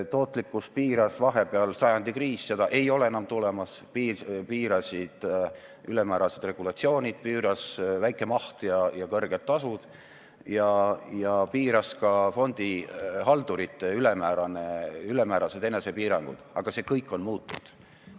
Tootlikkust piiras vahepeal sajandi kriis – seda ei ole enam tulemas –, piirasid ülemäärased regulatsioonid, piirasid väike maht ja kõrged tasud ning piirasid fondihaldurite ülemäärased enesepiirangud, aga see kõik on muutunud.